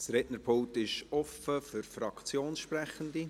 Das Rednerpult ist offen für Fraktionssprechende.